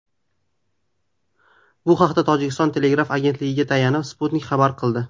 Bu haqda Tojikiston telegraf agentligiga tayanib, Sputnik xabar qildi .